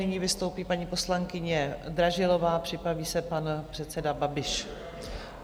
Nyní vystoupí paní poslankyně Dražilová, připraví se pan předseda Babiš.